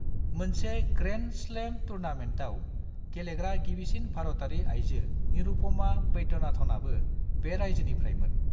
मोनसे grand slam टूर्नामेन्टआव गेलेग्रा गिबिसिन भारतारि आइजो निरुपमा वैद्यनाथनआबो बे रायजोनिफ्रायमोन।